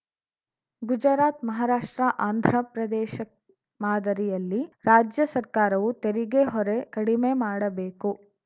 ಗುಜರಾತ್‌ ಮಹಾರಾಷ್ಟ್ರ ಆಂಧ್ರಪ್ರದೇಶ ಮಾದರಿಯಲ್ಲಿ ರಾಜ್ಯ ಸರ್ಕಾರವೂ ತೆರಿಗೆ ಹೊರೆ ಕಡಿಮೆ ಮಾಡಬೇಕು